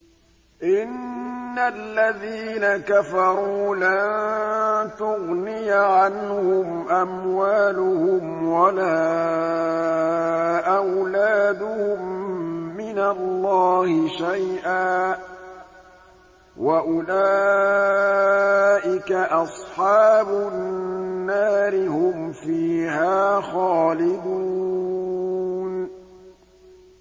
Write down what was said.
إِنَّ الَّذِينَ كَفَرُوا لَن تُغْنِيَ عَنْهُمْ أَمْوَالُهُمْ وَلَا أَوْلَادُهُم مِّنَ اللَّهِ شَيْئًا ۖ وَأُولَٰئِكَ أَصْحَابُ النَّارِ ۚ هُمْ فِيهَا خَالِدُونَ